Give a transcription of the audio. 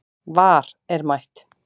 VAR er mætt